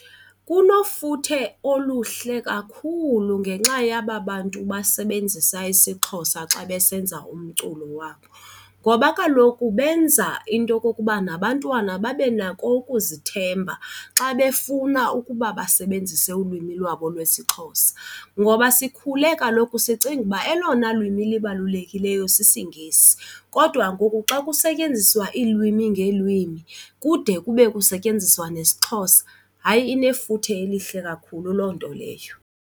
Kunofuthe oluhle kakhulu ngenxa yaba bantu basebenzisa isiXhosa xa besenza umculo wabo ngoba kaloku benza into yokokuba nabantwana babe nako ukuzithemba xa befuna ukuba basebenzise ulwimi lwabo lwesiXhosa. Ngoba sikhule kaloku sicinga uba elona lwimi lubalulekileyo sisiNgesi kodwa ngoku xa kusetyenziswa iilwimi ngeelwimi kude kube kusetyenziswa nesiXhosa. Hayi, inefuthe elihle kakhulu loo nto leyo.